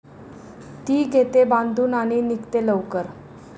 ती घेते बांधून आणि निघते लवकर.